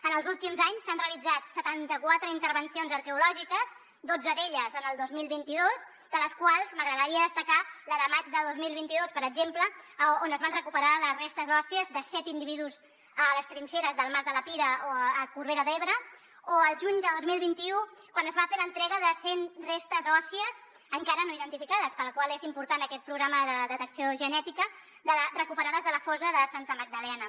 en els últims anys s’han realitzat setanta quatre intervencions arqueològiques dotze d’elles el dos mil vint dos de les quals m’agradaria destacar la de maig de dos mil vint dos per exemple on es van recuperar les restes òssies de set individus a les trinxeres del mas de la pila a corbera d’ebre o la del juny de dos mil vint u quan es va fer l’entrega de cent restes òssies encara no identificades per la qual cosa és important aquest programa de detecció genètica recuperades de la fossa de santa magdalena